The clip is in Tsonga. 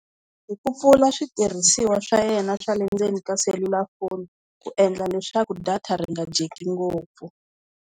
Hi ku pfula switirhisiwa swa yena swa le ndzeni ka selulafoni ku endla leswaku data ri nga dyeki ngopfu.